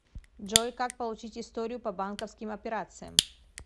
джой как получить историю по бансковским операциям